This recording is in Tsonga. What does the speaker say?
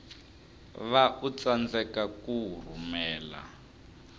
va u tsandzeka ku rhumela